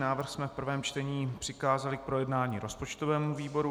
Návrh jsme v prvém čtení přikázali k projednání rozpočtovému výboru.